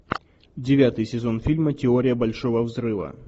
девятый сезон фильма теория большого взрыва